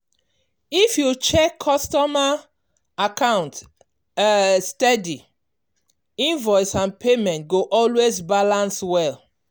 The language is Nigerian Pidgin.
if you dey check customer account um steady invoice and payment go always balance well.